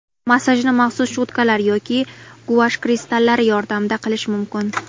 Massajni maxsus cho‘tkalar yoki guash kristallari yordamida qilish mumkin.